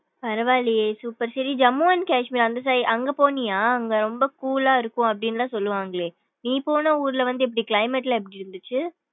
பரவா இல்லையே super சேரி ஜம்மு அன் கேஷ்மீர் அந்த side அங்க போனியா அங்க ரொம்ப cool லா இருக்கும். அப்டினுலாம் சொல்லுவாங்களே நீ போன ஊருல வந்து எப்படி climate லாம் எப்படி இருந்துசு.